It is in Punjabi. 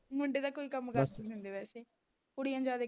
ਮੁੰਡੇ ਤਾਂ ਕੋਈ ਕੰਮ ਕਰਦੇ ਨਹੀਂ ਹੁੰਦੇ ਵੈਸੇ ਕੁੜੀਆਂ ਜ਼ਿਆਦਾ ਈ